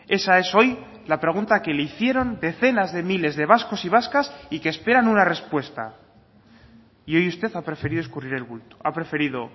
esa es hoy la pregunta que le hicieron decenas de miles de vascos y vascas y que esperan una respuesta y hoy usted ha preferido escurrir el bulto ha preferido